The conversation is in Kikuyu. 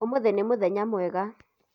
ũmuthĩ nĩ mũthenya mwega